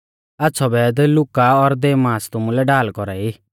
आच़्छ़ौ वैध लुका और देमास तुमुलै ढाल कौरा ई